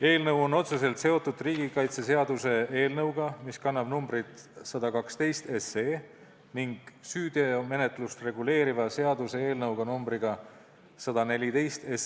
Eelnõu on otseselt seotud riigikaitseseaduse eelnõuga, mis kannab numbrit 112, ning süüteomenetlust reguleeriva seaduse eelnõuga, mis kannab numbrit 114.